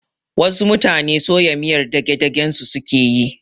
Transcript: Wasu mutane soya miyar dagdagen su suke yi